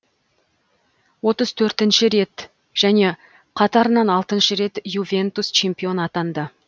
отыз төртінші рет және қатарынан алтыншы рет ювентус чемпион атанды